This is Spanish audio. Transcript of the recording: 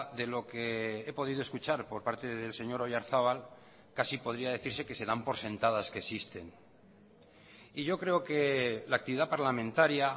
de lo que he podido escuchar por parte del señor oyarzabal casi podría decirse que se dan por sentadas que existen y yo creo que la actividad parlamentaria